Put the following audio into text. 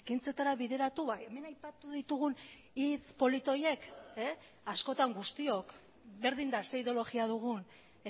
ekintzetara bideratu hemen aipatu ditugun hitz polit horiek askotan guztiok berdin da ze ideologia dugun